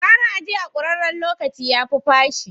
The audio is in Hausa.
Gara a je a kuraren locaci, yafi fashi.